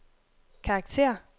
karakter